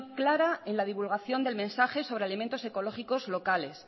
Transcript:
clara en la divulgación del mensaje sobre alimentos ecológicos locales